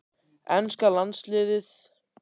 Enska landsliðið?